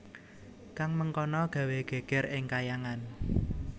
Kang mengkono gawé gègèr ing Kahyangan